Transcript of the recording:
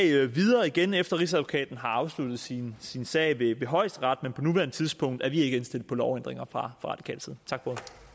igen efter at rigsadvokaten har afsluttet sin sin sag ved højesteret men på nuværende tidspunkt er vi ikke indstillet på lovændringer fra radikal side tak